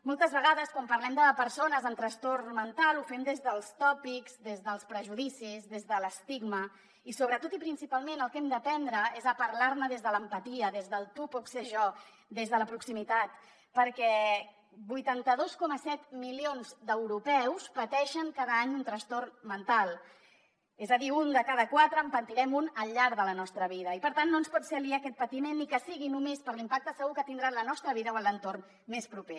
moltes vegades quan parlem de persones amb trastorn mental ho fem des dels tòpics des dels prejudicis des de l’estigma i sobretot i principalment el que hem d’aprendre és a parlar ne des de l’empatia des del tu pots ser jo des de la proximitat perquè vuitanta dos coma set milions d’europeus pateixen cada any un trastorn mental és a dir un de cada quatre en patirem un al llarg de la nostra vida i per tant no ens pot ser aliè aquest patiment ni que sigui només per l’impacte segur que tindrà en la nostra vida o en l’entorn més proper